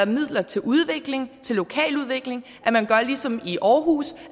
midler til udvikling lokaludvikling at man gør ligesom i aarhus